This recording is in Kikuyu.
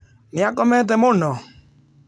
Nĩ aakomete mũno?